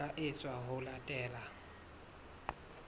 ho tla etswa ho latela